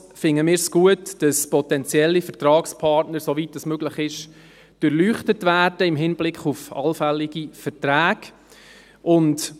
Ebenfalls finden wir es gut, dass potenzielle Vertragspartner, soweit dies möglich ist, im Hinblick auf anfällige Verträge durchleuchtet werden.